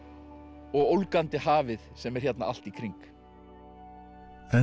og ólgandi hafið sem er hérna allt í kring en